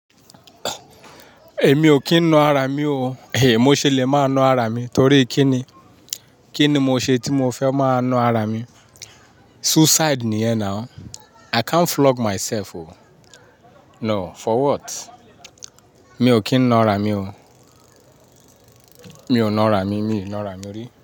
Èmi ò kí ń na ara mi o. Èèyí mo ṣe lè máa na ara mi torí kí ni? Kí ni mo ṣe tí mo fẹ́ máa na ara mi? Suicide ni yẹn náà o. I can't flog myself o. No, for what? Mi ò kí ń na ara mi o. Mi ò na ara mi, mi na ara mi rí.